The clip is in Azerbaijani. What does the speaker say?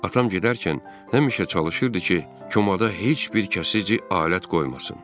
Atam gedərkən həmişə çalışırdı ki, komada heç bir kəsici alət qoymasın.